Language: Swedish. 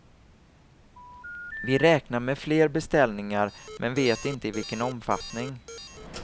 Vi räknar med fler beställningar men vet inte i vilken omfattning.